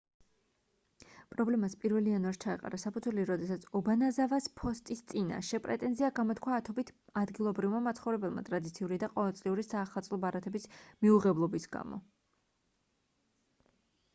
პრობლემას 1-ლ იანვარს ჩაეყარა საფუძველი როდესაც ობანაზავას ფოსტის წინაშე პრეტენზია გამოთქვა ათობით ადგილობრივმა მაცხოვრებელმა ტრადიციული და ყოველწლიური საახალწლო ბარათების მიუღებლობის გამო